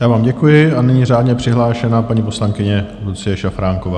Já vám děkuji a nyní řádně přihlášená paní poslankyně Lucie Šafránková.